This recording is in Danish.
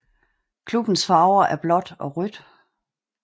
Klubbens farver var blåt og rødt